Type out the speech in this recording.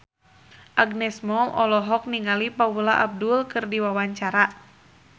Agnes Mo olohok ningali Paula Abdul keur diwawancara